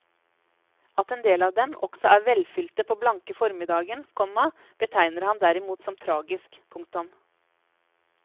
At en del av dem også er velfylte på blanke formiddagen, komma betegner han derimot som tragisk. punktum